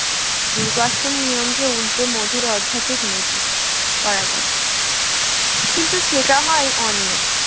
রূঢ় বাস্তব নিয়ম কে উল্টে মধুর আধ্যাত্মিক নীতি করা যায় কিন্তু সেটা হয় অনিয়ম